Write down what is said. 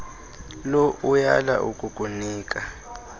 low uyala ukukunika